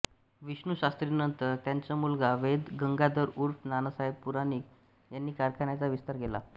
विष्णुशास्त्रींनंतर त्यांचा मुलगा वैद्य गंगाधर ऊर्फ नानासाहेब पुराणिक यांनी कारखान्याचा विस्तार केला